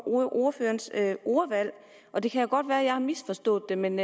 ordførerens ordvalg det kan godt være jeg har misforstået det men